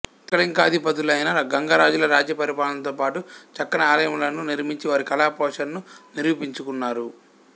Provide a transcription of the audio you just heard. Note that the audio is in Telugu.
త్రికళింగాధిపతులైన గాంగరాజులు రాజ్య పరిపాలనతో పాటు చక్కని ఆలయములను నిర్మించి వారి కళాపోషణను నిరూపించుకున్నారు